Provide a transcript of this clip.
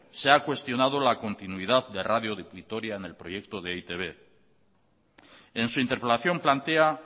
se ha cuestionado la continuidad de radio vitoria en el proyecto de e i te be en su interpelación plantea